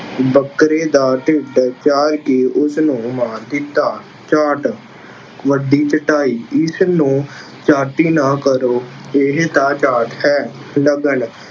ਬੱਕਰੇ ਦਾ ਢਿੱਡ ਪਾੜ ਕੇ ਉਸਨੂੰ ਮਾਰ ਦਿੱਤਾ। ਚਾਟ- ਵੱਡੀ ਚੱਟਾਈ- ਇਸਨੂੰ ਚਾਟੀ ਨਾ ਕਰੋ, ਇਹ ਤਾਂ ਚਾਟ ਹੈ। ਲਗਨ